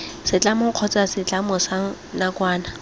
setlamo kgotsa setlamo sa nakwana